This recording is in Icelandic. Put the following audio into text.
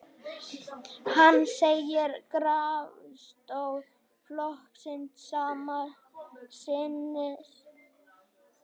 Hann segir grasrót flokksins sama sinnis